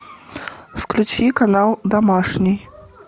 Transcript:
включи канал домашний